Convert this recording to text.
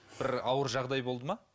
бір ауыр жағдай болды ма